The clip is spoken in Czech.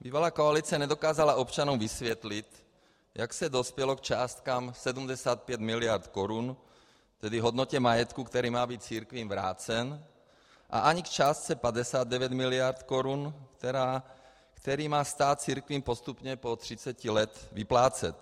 Bývalá koalice nedokázala občanům vysvětlit, jak se dospělo k částkám 75 miliard korun, tedy hodnotě majetku, který má být církvím vrácen, a ani k částce 59 miliard korun, kterou má stát církvím postupně po 30 let vyplácet.